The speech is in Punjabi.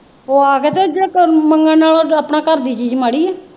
ਉਹ ਆ ਮੰਗਣ ਵਾਲਾ ਤੇ ਆਪਣਾ ਘਰ ਦੀ ਚੀਜ਼ ਮਾੜੀ ਹੈ।